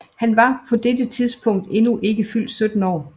Han var på dette tidspunkt endnu ikke fyldt 17 år